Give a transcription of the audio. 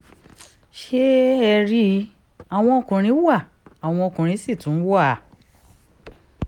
ṣé ẹ rí i àwọn ọkùnrin wa àwọn ọkùnrin sì tún wà